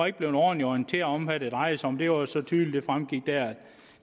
ikke blevet ordentligt orienteret om hvad det drejede sig om det var så tydeligt